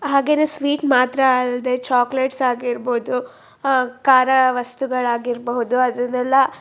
ಹಾಗೆ ಸ್ವೀಟ್ ಮಾತ್ರ ಅಲ್ದೆ ಚಾಕಲೇಟ್ ಆಗಿರ್ಬಹುದು ಅಹ್ ಕಾರ ವಸ್ತುಗಳ ಆಗಿರ್ಬಹುದು ಅದನ್ನೆಲ್ಲ--